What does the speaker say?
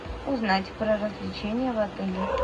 узнать про развлечения в отеле